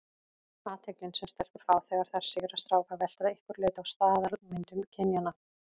Athyglin sem stelpur fá þegar þær sigra stráka veltur að einhverju leyti á staðalmyndum kynjanna.